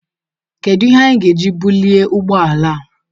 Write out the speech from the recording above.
Kedu ihe anyị ga-eji bulie ụgbọ ala a?